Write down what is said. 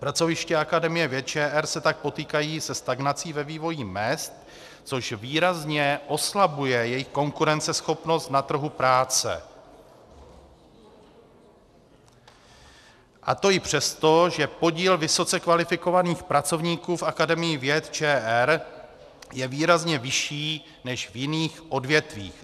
Pracoviště Akademie věd ČR se tak potýkají se stagnací ve vývoji mezd, což výrazně oslabuje jejich konkurenceschopnost na trhu práce, a to i přesto, že podíl vysoce kvalifikovaných pracovníků v Akademii věd ČR je výrazně vyšší než v jiných odvětvích.